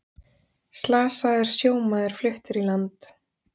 Slasaður sjómaður fluttur í land